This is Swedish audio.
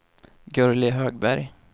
Gurli Högberg